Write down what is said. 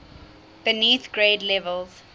beneath grade levels